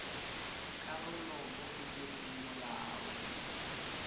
karolo mo go direng molao